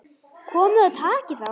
Komiði og takið þá!